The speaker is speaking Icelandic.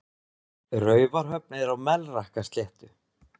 Raufarhöfn er á Melrakkasléttu.